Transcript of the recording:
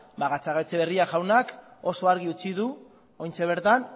ba gatzagaetxebarria jaunak oso argi utzi du oraintxe ez duela